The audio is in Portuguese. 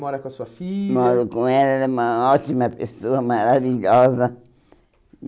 Mora com a sua filha... Moro com ela, ela é uma ótima pessoa, maravilhosa.